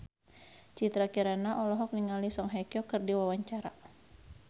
Citra Kirana olohok ningali Song Hye Kyo keur diwawancara